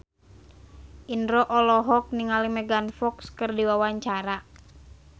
Indro olohok ningali Megan Fox keur diwawancara